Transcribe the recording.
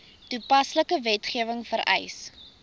toepaslike wetgewing vereis